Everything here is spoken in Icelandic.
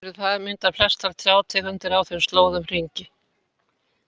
Þrátt fyrir það mynda flestar trjátegundir á þeim slóðum hringi.